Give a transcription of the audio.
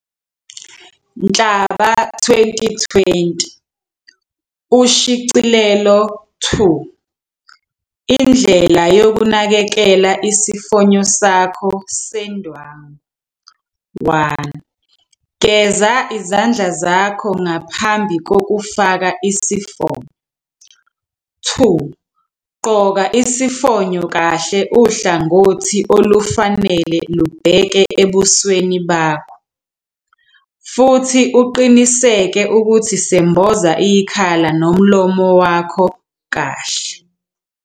Nhlaba 2020, Ushicilelo 2, Indlela yokunakekela isifonyo sakho sendwangu. 1. Geza izandla zakho ngaphambi kokufaka isifonyo. 3. Gqoka isifonyo kahle uhlangothi olufanele lubheke ebusweni bakho, futhi uqiniseke ukuthi semboza ikhala nomlomo wakho kahle. 4.